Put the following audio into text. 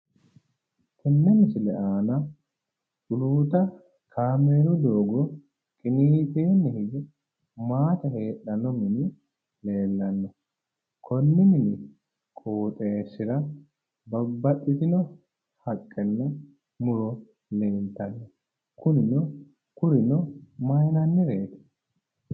Tenne misile aana culuuta kaameelu doogo qiniitenni higge maate heedhanno mini leellanno, konni qooxeessira babbaxxitino haqqenna muro leeltanno, kurino mayiinannireeti?